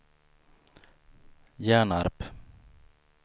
Hjärnarp